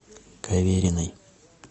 кавериной